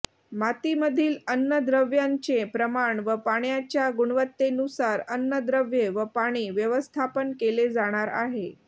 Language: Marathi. मातीमधील अन्नद्रव्यांचे प्रमाण व पाण्याच्या गुणवत्तेनुसार अन्नद्रव्ये व पाणी व्यवस्थापन केले जाणार आहे